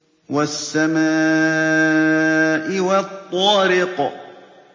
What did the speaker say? وَالسَّمَاءِ وَالطَّارِقِ